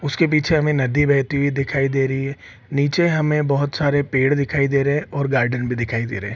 उसके पीछे हमें नदी बहती हुई दिखाई दे रही है नीचे हमें बहोत सारे पेड़ दिखाई दे रहे है और गार्डन भी दिखाई दे रहे ।